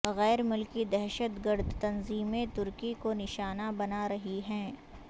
غیر ملکی دہشت گرد تنظیمیں ترکی کو نشانہ بنا رہی ہیں